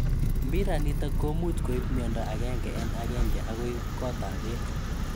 Mbiranitok komuuch koib �miondo agenge en agenge akoi koot ap beek.